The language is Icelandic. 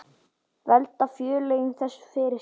Velta félögin þessu fyrir sér?